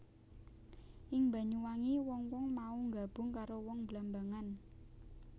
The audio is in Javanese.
Ing Banyuwangi wong wong mau nggabung karo wong Blambangan